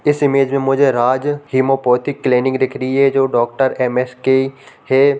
इस इमेज में मुझे राज हैमोपोथीक क्लिनिक दिख रही है जो डॉक्टर एम.एस.के. हैं।